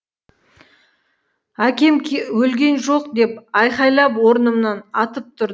әкем өлген жоқ деп айқайлап орнымнан атып тұр